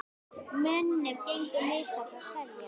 Mönnum gengur misvel að selja.